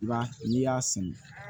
I b'a n'i y'a sɛnɛ